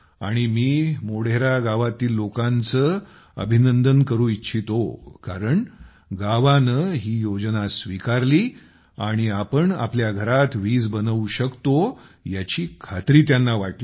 आणि मी मोढेरा गावातील लोकांचे अभिनंदन करू इच्छितो कारण गावाने ही योजना स्वीकारली आणि आपण आपल्या घरात वीज बनवू शकतो याची खात्री त्यांना वाटली